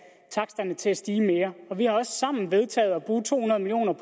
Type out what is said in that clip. taksterne til at stige mere og vi har også sammen vedtaget at bruge to hundrede million